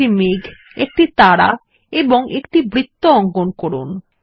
একটি মেঘ একটি তারা এবং একটি বৃত্ত অঙ্কন করুন